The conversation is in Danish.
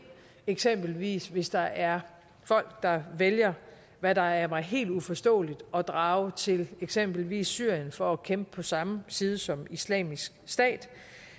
eksempelvis hvis der er folk der vælger hvad der er mig helt uforståeligt at drage til eksempelvis syrien for at kæmpe på samme side som islamisk stat